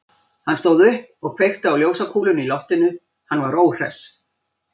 Hann stóð upp og kveikti á ljósakúlunni í loftinu, hann var óhress.